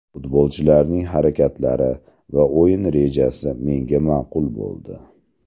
Futbolchilarning harakatlari va o‘yin rejasi menga ma’qul bo‘ldi.